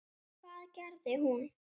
Og hvað gerði hún?